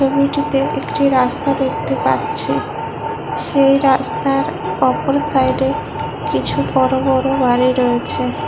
ছবিটিতে একটি রাস্তা দেখতে পাচ্ছি সেই রাস্তার ওপর সাইডে কিছু বড়ো বড়ো বাড়ি রয়েছে।